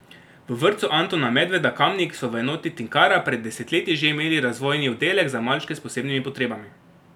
V vrtcu Antona Medveda Kamnik so v enoti Tinkara pred desetletji že imeli razvojni oddelek za malčke s posebnimi potrebami.